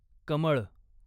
कमळ